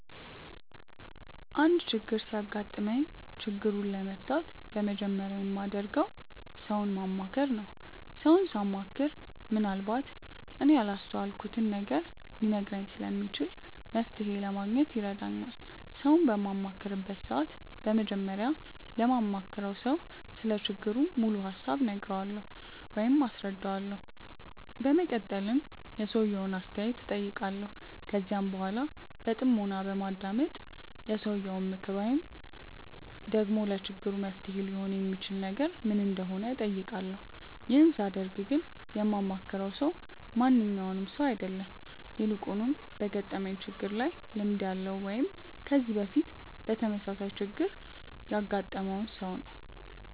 አንድ ችግር ሲያጋጥመኝ ችግሩን ለመፍታት በመጀመሪያ የማደርገው ሰውን ማማከር ነው። ሰውን ሳማክር ምንአልባት እኔ ያላስተዋልኩትን ነገር ሊነግረኝ ስለሚችል መፍተሔ ለማግኘት ይረዳኛል። ሰውን በማማክርበት ሰዓት በመጀመሪያ ለማማክረው ሰው ስለ ችግሩ ሙሉ ሀሳብ እነግረዋለሁ ወይም አስረዳዋለሁ። በመቀጠልም የሰውየውን አስተያየት እጠይቃለሁ። ከዚያም በኃላ በጥሞና በማዳመጥ የሰውየው ምክር ወይም ደግሞ ለችግሩ መፍትሔ ሊሆን የሚችል ነገር ምን እንደሆነ እጠይቃለሁ። ይህን ሳደርግ ግን የማማክረው ሰው ማንኛውም ሰው አይደለም። ይልቁንም በገጠመኝ ችግር ላይ ልምድ ያለው ወይም ከዚህ በፊት ተመሳሳይ ችግር ያገጠመውን ሰው ነው።